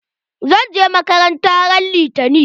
Zan je makaranta ran litani.